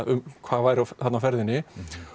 hvað væri þarna á ferðinni